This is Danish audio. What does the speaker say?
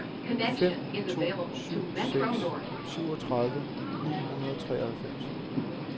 fem to syv seks syvogtredive ni hundrede og treoghalvfems